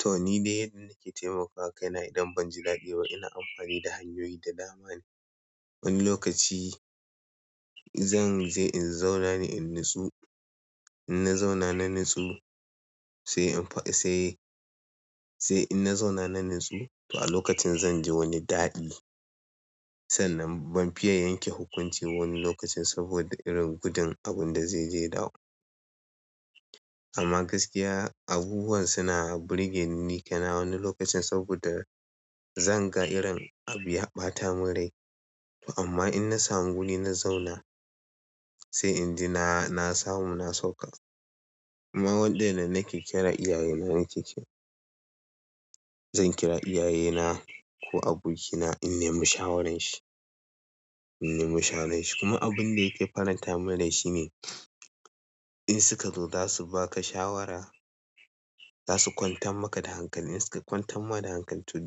To ni dai yadda nake taimakawa kaina idan banji daɗi ba ina amfani da hanyoyi da dama ne. Wani lokaci zan je in zauna ne in natsu. In na zauna na natsu sai an fa-- sai, sai in na zauna na natsu to a lokacin zanje wani daɗi. Sannan ban fiya yanke hukunci wani lokacin saboda irin gudun abun da zai je dawo. Amma gaskiya abubuwan suna burge ni, ni kaina wani lokacin saboda zan ga irin abu ya ɓata min rai. To amma in na samu guri na zauna sai in ji na samu na sauka. Amma waɗanne nake kira iyaye na nake kira. Na kira iyaye na ko abokina don in nemi shawaran shi kuma abinda yake farantamin rai shine in suka zo zasu baka shawara zasu kwantar maka da hankali in suka kwantan ma da hankali to